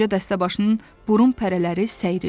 Qoca dəstəbaşının burun pərələri səyrildi.